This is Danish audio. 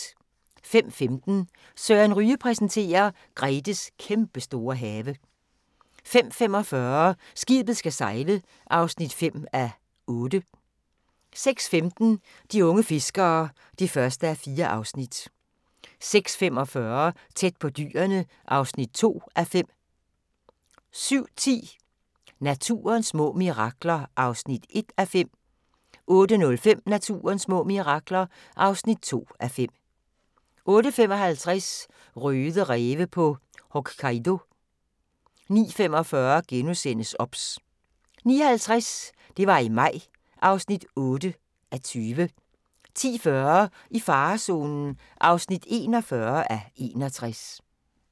05:15: Søren Ryge præsenterer: Gretes kæmpestore have 05:45: Skibet skal sejle (5:8) 06:15: De unge fiskere (1:4) 06:45: Tæt på dyrene (2:5) 07:10: Naturens små mirakler (1:5) 08:05: Naturens små mirakler (2:5) 08:55: Røde ræve på Hokkaido 09:45: OBS * 09:50: Det var i maj (8:20) 10:40: I farezonen (41:61)